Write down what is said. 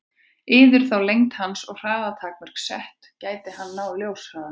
Yrðu þá lengd hans og hraða takmörk sett, og gæti hann náð ljóshraða?